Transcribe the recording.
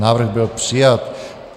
Návrh byl přijat.